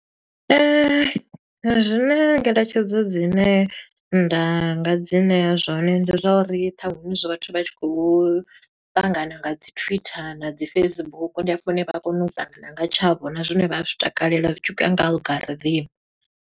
Zwine ngeletshedzo dzine nda nga dzi ṋea zwone ndi zwa uri ṱhaṅwe hu zwezwi vhathu vha tshi khou ṱangana nga dzi Twitter na dzi Facebook, ndi hafho hune vha a kona u ṱangana nga tshavho. Na zwine vha zwi takalela zwi tshi khou ya nga algorithm.